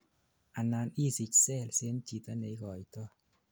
anan isich cells en jito neigoitoi